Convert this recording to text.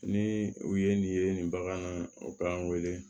Ni u ye nin ye nin bagan na u k'an wele